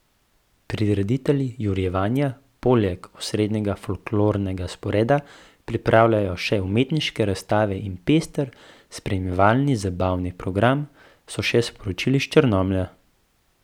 Prireditelji Jurjevanja poleg osrednjega folklornega sporeda pripravljajo še umetniške razstave in pester spremljevalni zabavni program, so še sporočili iz Črnomlja.